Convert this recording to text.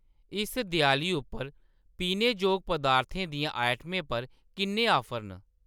इस देआली उप्पर पीनेजोग पदार्थें दियां आइटमें पर किन्ने ऑफर न ?